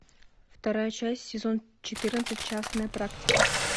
вторая часть сезон четырнадцать частная практика